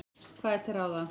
Hvað er til ráða?